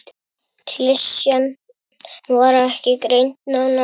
Klisjan var ekki greind nánar.